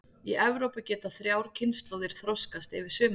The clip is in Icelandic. Í Evrópu geta þrjár kynslóðir þroskast yfir sumarið.